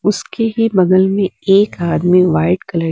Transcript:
उसके ही बगल में एक आदमी व्हाइट कलर --